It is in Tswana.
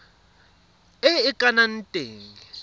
e e ka nnang teng